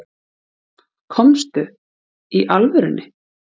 Komstu. í alvörunni?